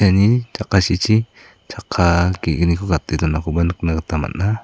iani jakasichi chakka ge·gniko gate donakoba nikna gita man·a.